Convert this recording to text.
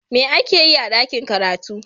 me ake Yi a dakin karatu?